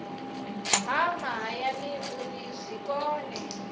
ha mahayani uri zwi kone